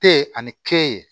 Te ani ke